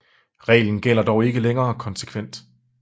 Reglen gælder dog ikke længere konsekvent